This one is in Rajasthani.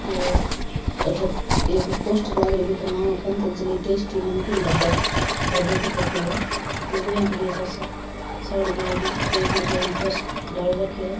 और अठ एक पोस्टर लाग रो है बि पर नाम अ पंतजली टेस्टी नमकीन डब्बा डब्बा की फोटो है लुगाया खड़ी है कासा सारी पेरिडी एक लुगाई पर्स डाल रखो है।